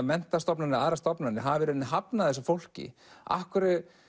menntastofnanir eða aðrar stofnanir hafa í raun hafnað þessu fólki af hverju